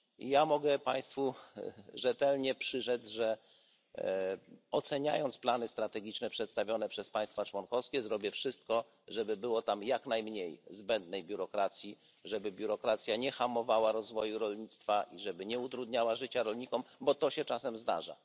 Ja mogę Państwu rzetelnie przyrzec, że oceniając plany strategiczne przedstawione przez państwa członkowskie zrobię wszystko, żeby było tam jak najmniej zbędnej biurokracji, żeby biurokracja nie hamowała rozwoju rolnictwa, i żeby nie utrudniała życia rolnikom, bo to się czasem zdarza.